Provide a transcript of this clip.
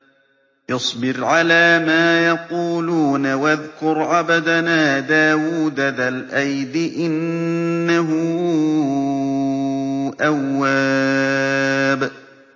اصْبِرْ عَلَىٰ مَا يَقُولُونَ وَاذْكُرْ عَبْدَنَا دَاوُودَ ذَا الْأَيْدِ ۖ إِنَّهُ أَوَّابٌ